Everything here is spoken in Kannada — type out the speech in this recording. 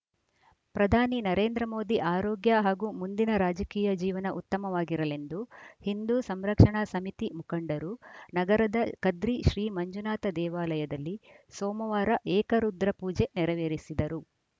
ಪ್ರಧಾನಿ ನರೇಂದ್ರ ಮೋದಿ ಆರೋಗ್ಯ ಹಾಗೂ ಮುಂದಿನ ರಾಜಕೀಯ ಜೀವನ ಉತ್ತಮವಾಗಿರಲೆಂದು ಹಿಂದೂ ಸಂರಕ್ಷಣಾ ಸಮಿತಿ ಮುಖಂಡರು ನಗರದ ಕದ್ರಿ ಶ್ರೀಮಂಜುನಾಥ ದೇವಾಲಯದಲ್ಲಿ ಸೋಮವಾರ ಏಕ ರುದ್ರ ಪೂಜೆ ನೆರವೇರಿಸಿದರು